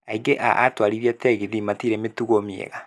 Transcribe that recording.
Aingĩ a atwarithia tegithi matirĩ mĩtugo mĩega